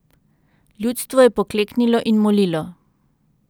Ljudstvo je pokleknilo in molilo.